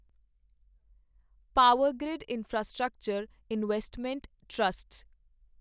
Powergrid infrastructure investment trust